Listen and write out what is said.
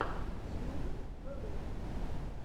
тьюга вево